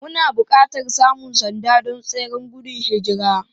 Muna buƙatar samun sanda don tseren gudun hijira.